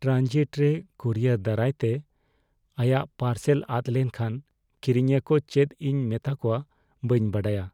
Transit ᱨᱮ courier ᱫᱟᱨᱟᱭᱛᱮ ᱟᱭᱟᱜ ᱯᱟᱨᱥᱮᱞ ᱟᱫ ᱞᱮᱱᱠᱷᱟᱱ ᱠᱤᱨᱤᱧᱤᱭᱟᱹ ᱠᱚ ᱪᱮᱫ ᱤᱧ ᱢᱮᱛᱟ ᱠᱚᱣᱟ ᱵᱟᱹᱧ ᱵᱟᱰᱟᱭᱟ ᱾